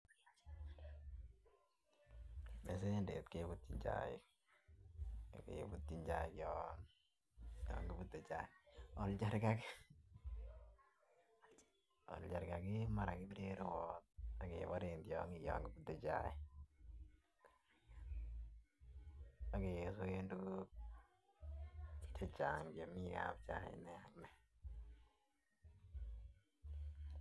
Mesenteric jebutyin chaik bakebutyin chai yon yon kibutee chaij oljarkaka kebiren tyongik yon kibutee chaik ak kebiren tuguk chechang chemi jachaik chechang nia nia.